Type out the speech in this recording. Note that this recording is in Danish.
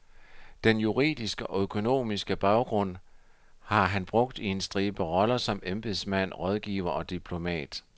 Den juridiske og økonomiske baggrund har han brugt i en stribe roller som embedsmand, rådgiver og diplomat.